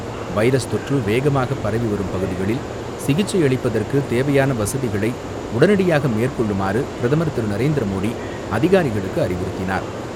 Virus தொற்று வேகமாக பரவி வரும் பகுதிகளில் சிகிச்சை அளிப்பதற்கு தேவையான வசதிகளை உடனடியாக மேற்கொள்ளுமாறு பிரதமர் திரு நரேந்திர மோடி அதிகாரிகளுக்கு அறிவுறுத்தினார்.